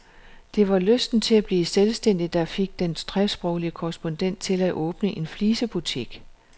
Det var lysten til at blive selvstændig, der fik den tresproglige korrespondent til at åbne en flisebutik.